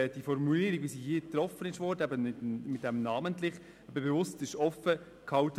Die Formulierung im Gesetz wurde mit dem Begriff «namentlich» bewusst offen gehalten.